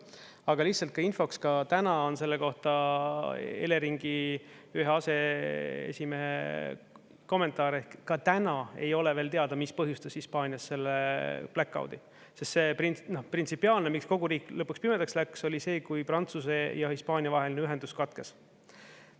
Aga lihtsalt infoks, ka täna on selle kohta Eleringi ühe aseesimehe kommentaar, et ka täna ei ole veel teada, mis põhjustas Hispaanias selle blackout'i, sest see printsipiaalne, miks kogu riik lõpuks pimedaks läks, oli see, kui Prantsuse ja Hispaania vaheline ühendus katkes.